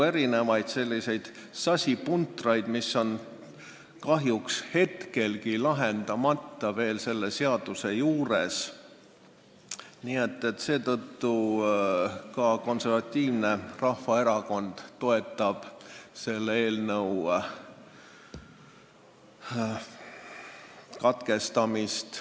Nii et selles eelnõus on kahjuks väga palju sasipuntraid veel lahendamata ja seetõttu ka Konservatiivne Rahvaerakond toetab selle teise lugemise katkestamist.